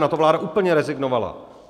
Na to vláda úplně rezignovala.